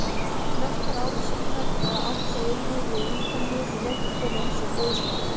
Flestar árásirnar, eða átta, urðu við Ítalíu og leiddu til eins dauðsfalls.